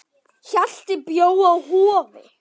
Hjalti bjó á Hofi.